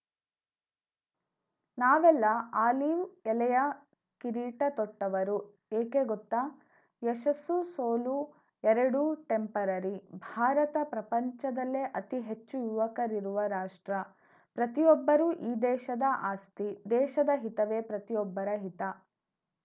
ನಾವೆಲ್ಲ ಆಲೀವ್‌ ಎಲೆಯ ಕಿರೀಟ ತೊಟ್ಟವರು ಏಕೆ ಗೊತ್ತಾ ಯಶಸ್ಸುಸೋಲು ಎರಡೂ ಟೆಂಪರರಿ ಭಾರತ ಪ್ರಪಂಚದಲ್ಲೇ ಅತಿ ಹೆಚ್ಚು ಯುವಕರಿರುವ ರಾಷ್ಟ್ರ ಪ್ರತಿಯೊಬ್ಬರೂ ಈ ದೇಶದ ಆಸ್ತಿ ದೇಶದ ಹಿತವೇ ಪ್ರತಿಯೊಬ್ಬರ ಹಿತ